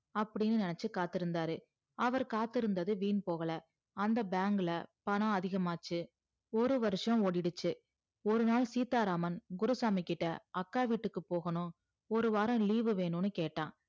அப்டின்னு நினச்சி காத்து இருந்தாரு அவர் காத்து இருந்தது வீண் போகல அந்த bank ல பணம் அதிகமாச்சி ஒரு வருஷம் ஓடிடுச்சி ஒரு நாள் சீத்தா ராமன் குருசாமிகிட்ட அக்கா வீட்டுக்கு போகணும் ஒரு வாரம் leave வு வேணும்னு கேட்டா